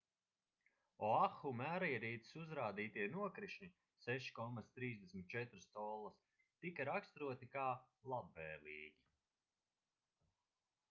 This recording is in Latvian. oahu mērierīces uzrādītie nokrišņi 6,34 collas tika raksturoti kā labvēlīgi